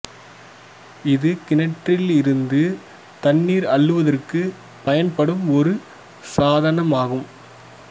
இது கிணற்றில் இருந்து தண்ணீர் அள்ளுவதற்கு பயன்படும் ஒரு சாதனமாகும்